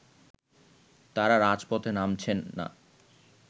তারা রাজপথে নামছেন না